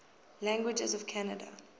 languages of canada